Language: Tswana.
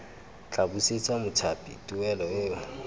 tla busetsa mothapi tuelo eo